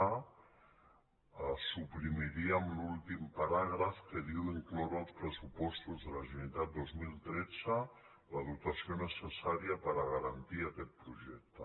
a suprimiríem l’últim paràgraf que diu incloure als pressupostos de la generalitat dos mil tretze la dotació necessària per garantir aquest projecte